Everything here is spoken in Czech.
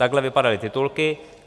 Takhle vypadaly titulky.